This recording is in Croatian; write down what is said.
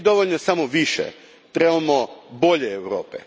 Nije dovoljno samo više, trebamo bolju Europu.